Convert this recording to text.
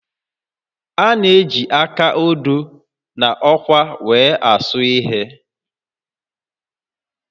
A na-eji áká odo na ọkwá were asụ ihe